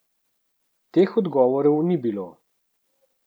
Teh odgovorov ni bilo.